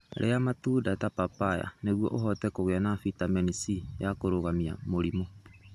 Iria matunda ta papaya nĩguo ũhote kũgĩa na bitamini C ya kũrũgamia mũrimũ.